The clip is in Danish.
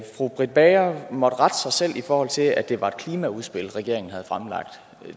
fru britt bager måtte rette sig selv i forhold til at det var et klimaudspil regeringen havde fremlagt